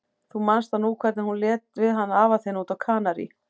Þú manst nú hvernig hún lét við hann afa þinn úti á Kanarí.